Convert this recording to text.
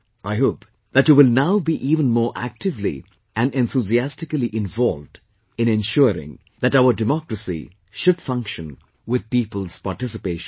I hope that you will now be even more actively and enthusiastically involved in ensuring that our democracy should function with people's participation